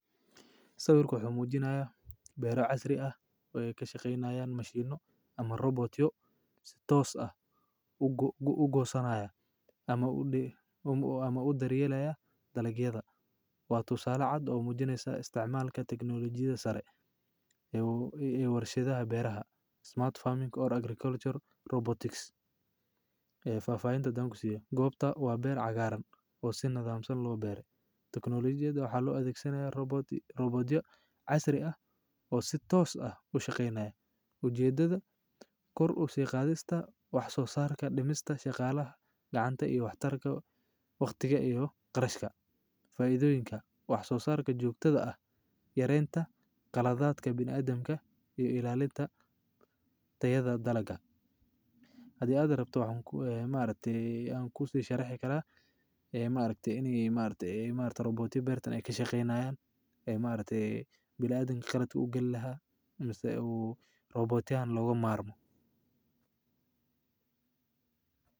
Sababta muujinaya beer casri ah way ka shaqaynaya mashiino ama robootyo si toos ah u gu u goosanaya ama u dhii ama u daryeelayaa dalkeeda. Waatu sala cad oo muujinaysa isticmaalka tignolijida sare ee uu warshadaha beeraha Smart Farming and Agricultural Robotics ee faafaynta dangu siiyay. Goobta waa beer cagaaran oo si nadaamsan loo beereyn. Teknoolajiyadda waxa loo adeegsanyahay robooti robootiya casri ah oo si toos ah u shaqeynaa. Ujeeddada, kordh u sii qaadista, wax soo saarka dhimista, shaqaalaha gacanta iyo wakhtarka, wakhtiga iyo qarashka. Faa'iidooyinka: Wax soo saarka joogtada ah, yareenta, kalaadaadka bini'aadamka iyo ilaalinta tayada dalagga. Hadii aadan rabto wax ku eh, yimaadeetay aan kusii sharaxi karaa? Eh, yimaadeetay inay imaata robootiyo beertan ay ka shaqaynayaan? Ee, yimaadeetay bilaa adig qirad u gelaha imasta uu robooti aan looga maarmo?